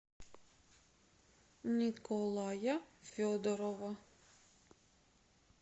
николая федорова